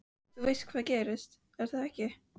Þú veist hvað gerðist, er það ekki?